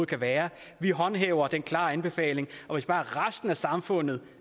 kan være vi håndhæver den klare anbefaling og hvis bare resten af samfundet